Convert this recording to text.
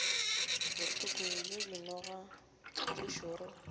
bohloko bja dinoga tše šoro